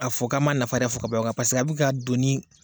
K'a fɔ ko an m'a nafa bɛɛ fɔ ka ban paseke a bɛ ka doni